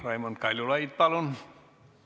Raimond Kaljulaid, palun!